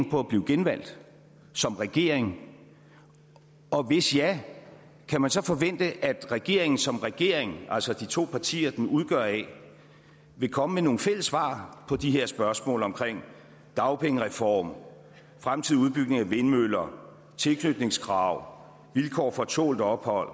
på at blive genvalgt som regering og hvis ja kan man så forvente at regeringen som regering altså de to partier den udgøres af vil komme med nogle fælles svar på de her spørgsmål om dagpengereform fremtidig udbygning af vindmøller tilknytningskrav vilkår for tålt ophold